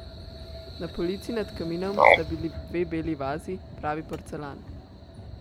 Na polici nad kaminom sta bili dve beli vazi, pravi porcelan.